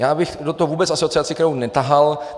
Já bych do toho vůbec Asociaci krajů netahal.